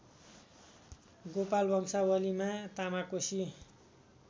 गोपाल वंशावलीमा तामाकोशी